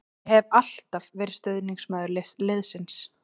Ég hef alltaf verið stuðningsmaður liðsins.